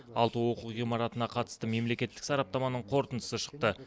алты оқу ғимаратына қатысты мемлекеттік сараптаманың қорытындысы шықты